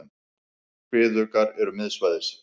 Kviðuggar eru miðsvæðis.